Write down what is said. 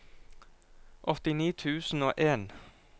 åttini tusen og en